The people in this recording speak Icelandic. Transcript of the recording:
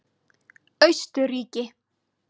Austurríki